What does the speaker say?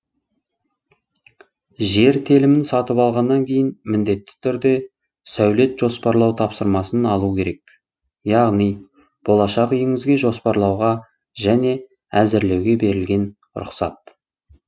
жер телімін сатып алғаннан кейін міндетті түрде сәулет жоспарлау тапсырмасын алу керек яғни болашақ үйіңізге жоспарлауға және әзірлеуге берілетін рұқсат